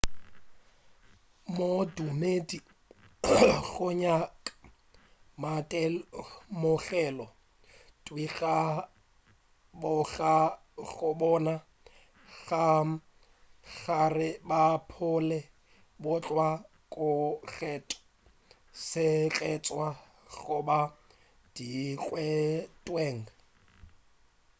modumedi o nyaka maitemogelo thwii go kwa goba go bona ka gare ga bophelo bjo bokgethwa/sekgethwa goba dikgethweng